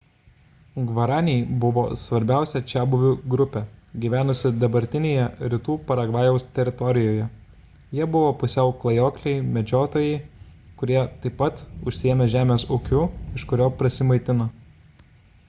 gvaraniai buvo svarbiausia čiabuvių grupė gyvenusi dabartinėje rytų paragvajaus teritorijoje – jie buvo pusiau klajokliai medžiotojai kurie taip pat užsiėmė žemės ūkiu iš kurio prasimaitino